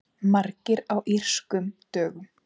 Margir á Írskum dögum